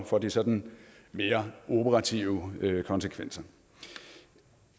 for de sådan mere operative konsekvenser